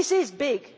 This is big.